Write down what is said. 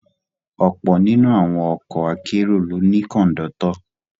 Ọ̀pọ̀ nínú àwọn ọkọ akérò ló ní Kọ̀ńdọ́tọ̀